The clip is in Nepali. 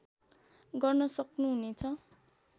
गर्न सक्नुहुनेछ